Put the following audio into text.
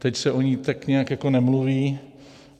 Teď se o ní tak nějak jako nemluví.